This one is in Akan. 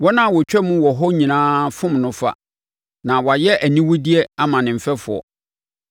Wɔn a wɔtwam wɔ hɔ nyinaa fom no fa; na wayɛ aniwudeɛ ama ne mfɛfoɔ.